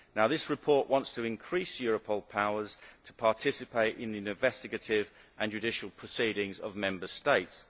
This report wants to increase Europolʼs powers to participate in the investigative and judicial proceedings of Member States.